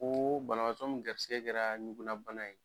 Koo banabaatɔ mun garisigɛ kɛra ɲugunna bana ye